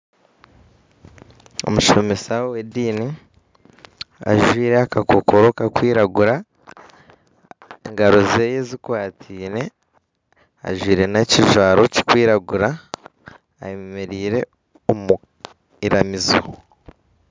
Omushomesa w'ediini ajwaire akakokoro karikwiragura engaro ze zikwataine ajwaire nekijwaro kirikwiragura ayemereire omu iramizo